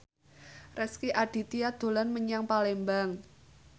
Rezky Aditya dolan menyang Palembang